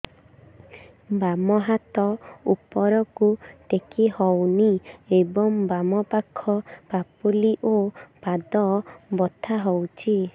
ବାମ ହାତ ଉପରକୁ ଟେକି ହଉନି ଏବଂ ବାମ ପାଖ ପାପୁଲି ଓ ପାଦ ବଥା ହଉଚି